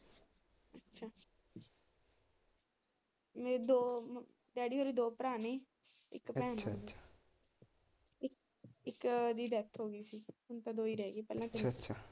ਮੇਰੇ ਦੋ ਡੈਡੀ ਹੋਰੀ ਦੋ ਭਰਾ ਨੇ ਇਕ ਭੈਣ ਅੱਛਾ ਅੱਛਾ ਇੱਕ ਦੀ ਡੈਥ ਹੋਗੀ ਸੀ ਹੁਣ ਤਾਂ ਦੋ ਹੀ ਰਹਿਗੇ ਪਹਿਲਾ ਅੱਛਾ ਅੱਛਾ।